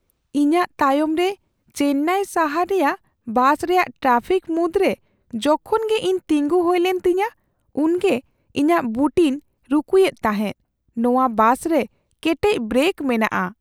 ᱤᱧᱟᱹᱜ ᱛᱟᱭᱚᱢᱨᱮ ᱪᱮᱱᱱᱟᱭ ᱥᱟᱦᱟᱨ ᱨᱮᱭᱟᱜ ᱵᱟᱥ ᱨᱮᱭᱟᱜ ᱴᱨᱟᱯᱷᱤᱠ ᱢᱩᱫᱽᱨᱮ ᱡᱚᱠᱷᱚᱱᱜᱮ ᱤᱧ ᱛᱤᱸᱜᱩ ᱦᱩᱭᱞᱮᱱ ᱛᱤᱧᱟᱹ ᱩᱱᱜᱮ ᱤᱧᱟᱹᱜ ᱵᱩᱴᱤᱧ ᱨᱩᱠᱩᱭᱮᱫ ᱛᱟᱦᱮᱸ ᱾ ᱱᱚᱶᱟ ᱵᱟᱥᱨᱮ ᱠᱮᱴᱮᱡ ᱵᱨᱮᱠ ᱢᱮᱱᱟᱜᱼᱟ ᱾